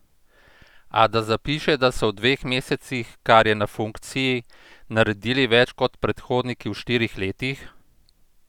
A da zapiše, da so v dveh mesecih, kar je na funkciji, naredili več kot predhodniki v štirih letih?